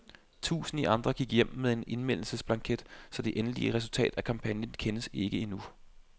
Tusinder andre gik hjem med en indmeldingsblanket, så det endelige resultat af kampagnen kendes endnu ikke.